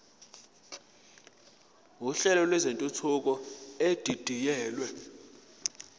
uhlelo lwentuthuko edidiyelwe